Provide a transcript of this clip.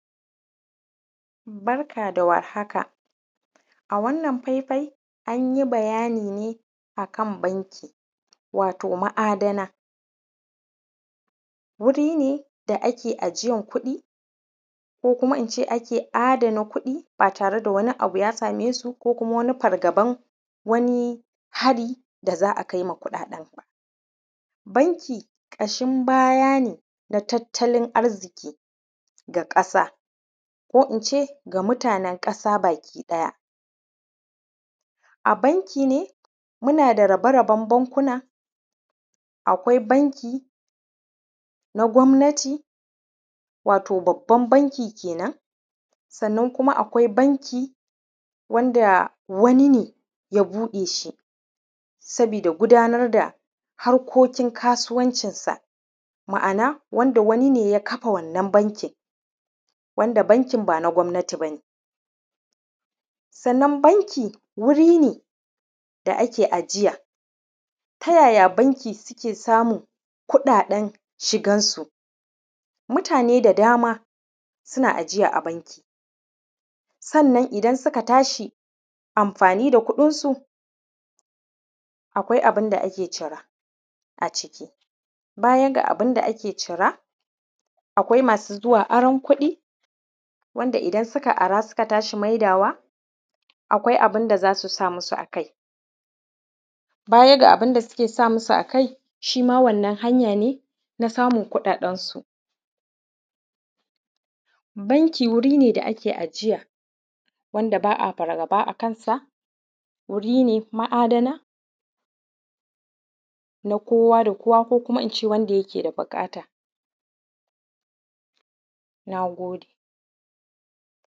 Barka da war haka. A wannan faifai, an yi bayani ne a kan banki, wato ma’adana. Wuri ne da ake ajiyan kuɗi ko kuma in ce ake adana kuɗi ba tare da wani abu ya same su ko kuma wani fargaban wani har da zai a kai ma kuɗaɗen ba. Banki ƙashin baya ne ga tattalin arziki, ga ƙasa ko in ce ga mutanen ƙasa baki ɗaya. A banki ne, muna da rabe-raben bankuna: akwai banki na gwamnati, wato babban banki kenan. Sannan kuma kwai banki wanda wani ne ya buɗe shi sabida gudanar da harkokin kasuwancinsa, ma’ana, wanda wani ne ya kafa wannan bankin, wanda bankin ba na gwamnati ba ne. sannan banki wuri ne da ake ajiya. Ta yaya banki suke samun kuɗaɗen shigansu? Mutane da dama suna ajiya a banki, sannan idan suka tashi amfani da kuɗinsu, akwai abin da ake cira a ciki. Baya ga abin da ake cira, akwai masu zuwa aron kuɗi, wanda idan suka ara suka tashi maidawa, akwai abin da za su sa musu a kai. Baya ga abin da suke sa musu a kai, shi ma wannan hanya ne na samun kuɗaɗensu. Banki wuri ne da ake ajiya, wanda ba a fargaba a kansa. Wuri ne ma’adana na kowa da kowa ko kuma in ce wanda yake da buƙata. Na gode.